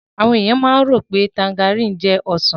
Àwọn èèyàn máa ń rò pé tanjarìn jẹ́ Ọsàn